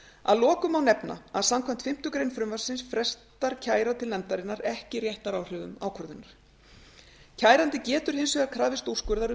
að lokum má nefna að samkvæmt fimmtu grein frumvarpsins frestar kæra til nefndarinnar ekki réttaráhrifum ákvörðunar kærandi getur hins vegar krafist úrskurðar um